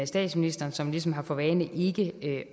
statsministeren som ligesom har for vane ikke